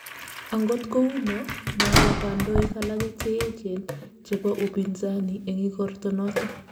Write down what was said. Angot kou no, mabwo kandoik alage che eejen, chebo upinzani eng' igorto noto